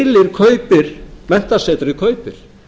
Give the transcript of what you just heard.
jú keilir menntasetrið kaupir